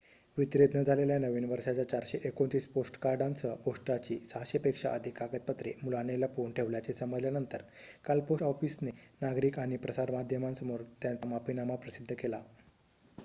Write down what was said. वितरित न झालेल्या नवीन वर्षाच्या ४२९ पोस्टकार्डांसह पोस्टाची ६०० पेक्षा अधिक कागदपत्रे मुलाने लपवून ठेवल्याचे समजल्यानंतर काल पोस्ट ऑफिसने नागरिक आणि प्रसारमाध्यमांसमोर त्यांचा माफिनामा प्रसिद्ध केला